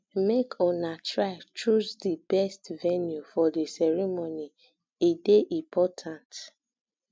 make una try choose di best venue for di ceremony e dey important